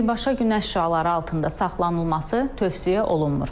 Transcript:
Birbaşa günəş şüaları altında saxlanılması tövsiyə olunmur.